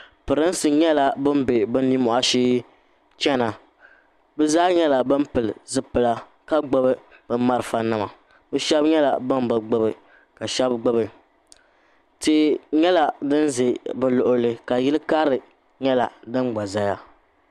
Prinsi nyɛla ban bɛ nini moahi shee chɛna bi zaa nyɛla ban pili zipila ka gbubi bi' marafa nima bi shɛba nyɛla bani bi gbubi ka shɛba gbubi tia nyɛla dini za bi luɣuli zuɣu ka yili karili nyɛla dini gba zaya.